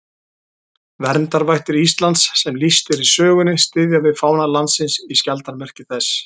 Verndarvættir Íslands sem lýst er í sögunni styðja við fána landsins í skjaldarmerki þess.